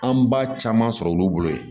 An b'a caman sɔrɔ olu bolo yen